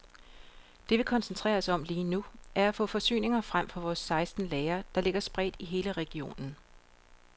Det vi koncentrerer os om lige nu, er at få forsyninger frem fra vores seksten lagre, der ligger spredt i hele regionen.